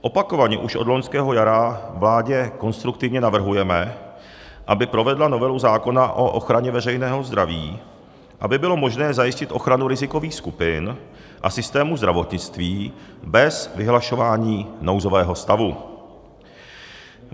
Opakovaně už od loňského jara vládě konstruktivně navrhujeme, aby provedla novelu zákona o ochraně veřejného zdraví, aby bylo možné zajistit ochranu rizikových skupin a systému zdravotnictví bez vyhlašování nouzového stavu.